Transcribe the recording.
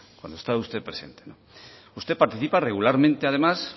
cuando estaba usted presente usted participa regularmente además